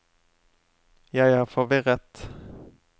jeg er forvirret